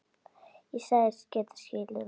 Og sagðist geta skilið það.